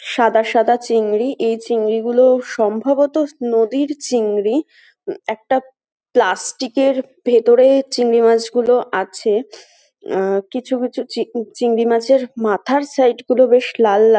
সাদা সাদা চিংড়ি। এই চিংড়িগুলোও সম্ভবত নদীর চিংড়ি। উম একটা প্লাস্টিক এর ভেতরে চিংড়ি মাছগুলো আছে। অহ কিছু কিছু চি - চিংড়ি মাছের মাথার সাইড গুলো বেশ লাল লা --